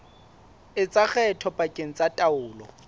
etsa kgetho pakeng tsa taolo